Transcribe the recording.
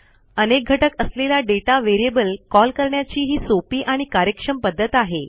अनेक घटक असलेला दाता व्हेरिएबल callकरण्याची ही सोपी आणि कार्यक्षम पध्दत आहे